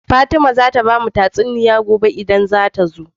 Fatima zata bamu tatsuniya gobe idan ta zo